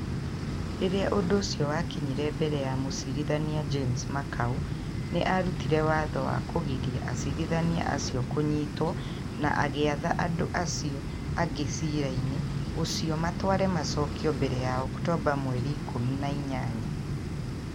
Rĩrĩa ũndũ ũcio wakinyire mbere ya Mũcirithania James Makau, nĩ arutire watho wa kũgiria acirithania acio kunyitũwo na agĩatha andũ aciio angĩ ciira-ini uciio matware macokio mbere ya Oktoba mweri ikumi na inyanya.